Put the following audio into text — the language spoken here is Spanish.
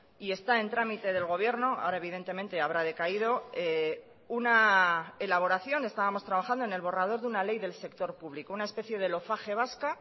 y está en tramite del gobierno ahora evidentemente habrá decaído una elaboración estábamos trabajando en el borrador de una ley del sector público una especie de lofage vasca